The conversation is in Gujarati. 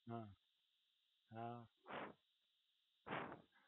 હમ્મ હા